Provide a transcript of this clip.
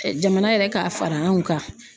Jamana yɛrɛ ka fara an kan.